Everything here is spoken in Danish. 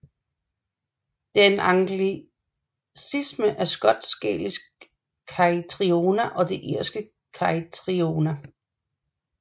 Det er en anglicisme af skotsk gælisk Caitriona og den irske Caitriona